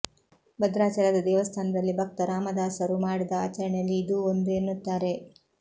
ಭದ್ರಾಚಲದ ದೇವಸ್ಥಾನದಲ್ಲಿ ಭಕ್ತ ರಾಮದಾಸರು ಮಾಡಿದ ಆಚರಣೆಯಲ್ಲಿ ಇದೂ ಒಂದು ಎನ್ನುತ್ತಾರೆ